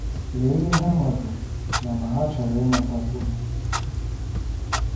Lee ihe ha mabu na ma hà chọrọ ịmatakwu.